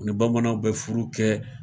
U ni bamananw bɛ furu kɛ.